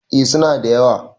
eh suna da yawa